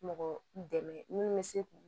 Mɔgɔ dɛmɛ minnu bɛ se k'u